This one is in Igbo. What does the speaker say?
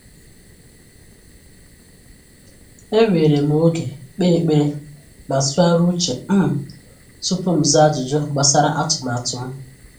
Ewere m oge kpee ekpere ma tụgharịa uche um tupu m zaa ajụjụ gbasara atụmatụ m.